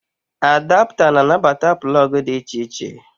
Adapta na anabata plọọgụ dị iche iche